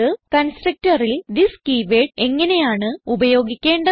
constructorൽ this keyword എങ്ങനെയാണ് ഉപയോഗിക്കേണ്ടത്